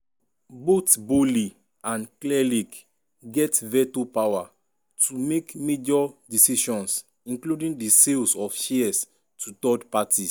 both boehly and clearlake get veto power to make major decisions including di sales of shares to third parties.